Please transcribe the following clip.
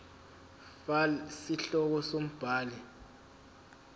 fal isihloko umbhali